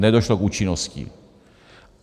Nedošlo k účinnosti.